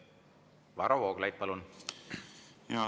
Varro Vooglaid, palun!